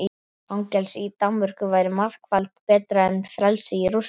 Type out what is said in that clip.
Fangelsi í Danmörku væri margfalt betra en frelsi í Rússlandi.